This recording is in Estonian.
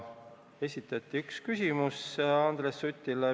Esitati üks küsimus Andres Sutile.